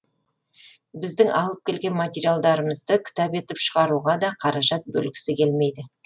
біздің алып келген материалдарымызды кітап етіп шығаруға да қаражат бөлгісі келмейді